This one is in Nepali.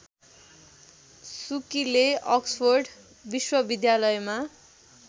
सुकीले अक्सफोर्ड विश्वविद्यालयमा